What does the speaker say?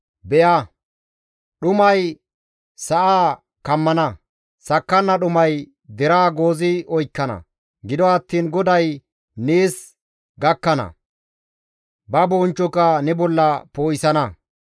Be7a, dhumay sa7aa kammana; sakkanna dhumay deraa goozi oykkana; gido attiin GODAY nees gakkana; ba bonchchoka ne bolla poo7isana.